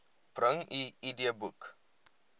bring u idboek